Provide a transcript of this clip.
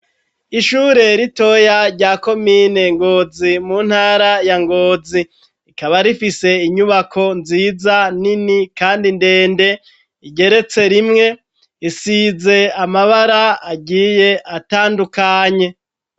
Ishure ritoya rya komine ngozi mu ntara ya ngozi rikaba rifise inyubako nziza nini, kandi ndende igeretse rimwe isize amabara agiye atandukanye.